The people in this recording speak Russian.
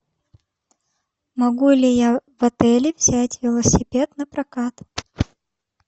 могу ли я в отеле взять велосипед напрокат